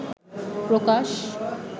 প্রকাশ